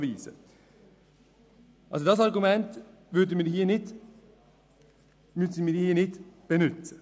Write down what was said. Dieses Argument kann hier demnach nicht angewendet werden.